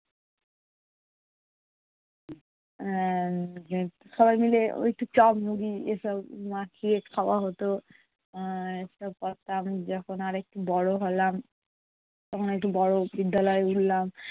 এর সবাই মিলে ওই একটু চা মুড়ি এসব মাখিয়ে খাওয়া হতো। উম এসব করতাম, যখন আর একটু বড়ো হলাম তখন একটু বড়ো বিদ্যালয়ে উঠলাম